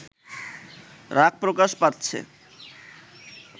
রাগ প্রকাশ পাচ্ছে